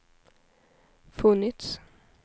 funnits